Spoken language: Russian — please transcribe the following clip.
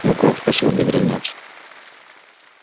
ну как спросил бедренец